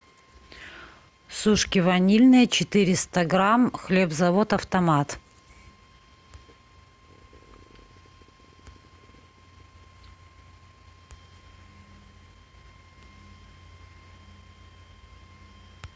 сушки ванильные четыреста грамм хлебзавод автомат